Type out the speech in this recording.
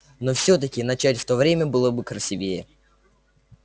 но всё-таки начать в то время было бы красивее